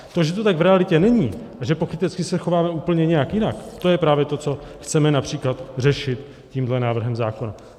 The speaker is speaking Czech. To, že to tak v realitě není a že pokrytecky se chováme úplně nějak jinak, to je právě to, co chceme například řešit tímhle návrhem zákona.